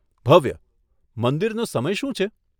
ભવ્ય, મંદિરનો સમય શું છે?